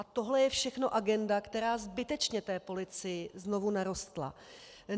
A tohle je všechno agenda, která zbytečně té policii znovu narostla.